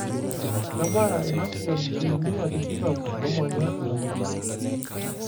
Kebaya ina sian silimia tikitam omanya inakop.